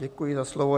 Děkuji za slovo.